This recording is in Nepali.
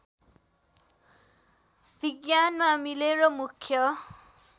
विज्ञानमा मिलेर मुख्य